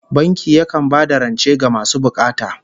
Banki yakan ba da rance ga masu bukata